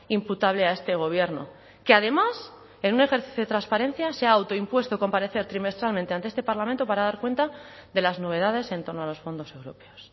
imputable a este gobierno que además en un ejercicio de transparencia se ha autoimpuesto comparecer trimestralmente ante este parlamento para dar cuenta de las novedades en torno a los fondos europeos